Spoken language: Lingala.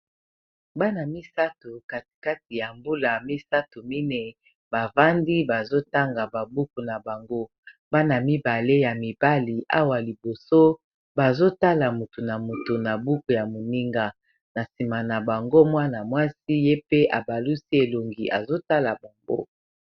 Bana misato kati kati ya mbula misato mineyi bavandi bazo tanga ba buku na bango bana mibale ya mibali awa liboso bazo tala motu na motu na buku ya moninga na nsima na bango mwana mwasi ye pe abalusi elongi azotala bongo.